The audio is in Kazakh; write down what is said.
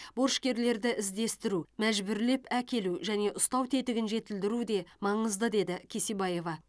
борышкерлерді іздестіру мәжбүрлеп әкелу және ұстау тетігін жетілдіру де маңызды деді кесебаева